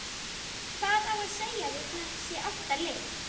Hvað á að segja við þessi átta lið?